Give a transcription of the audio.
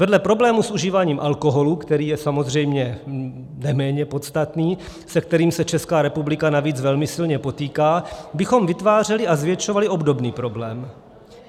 Vedle problému s užíváním alkoholu, který je samozřejmě neméně podstatný, se kterým se Česká republika navíc velmi silně potýká, bychom vytvářeli a zvětšovali obdobný problém.